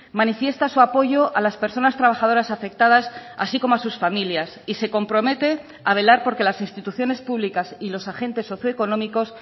manifiesta su apoyo a las personas trabajadoras afectadas así como a sus familias y se compromete a velar porque las instituciones públicas y los agentes socio económicos